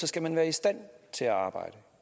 skal man være i stand til at arbejde